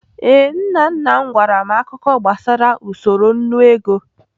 Ee, nna nna m gwara m akụkọ gbasara usoro nnu ego.